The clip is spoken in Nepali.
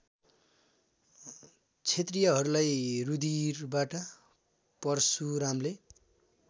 क्षत्रियहरूलाई रुधिरबाट परशुरामले